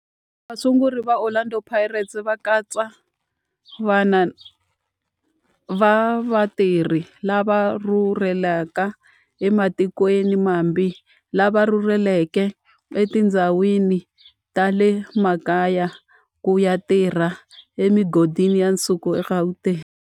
Vasunguri va Orlando Pirates va katsa vana va vatirhi lava rhurhelaka ematikweni mambe lava rhurheleke etindhawini ta le makaya ku ya tirha emigodini ya nsuku eGauteng.